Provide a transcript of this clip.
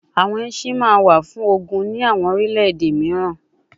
Awọn ẹṣin ma wa fun ogun ni awọn orilẹ-ede miiran